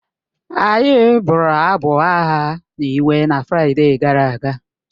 Anyị bụrụ abụ agha na ịwe na Fraịde gara aga